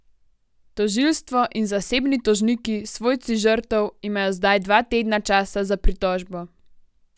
Tožilstvo in zasebni tožniki, svojci žrtev, imajo zdaj dva tedna časa za pritožbo.